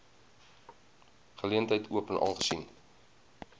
geleentheid open aangesien